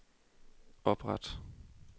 opret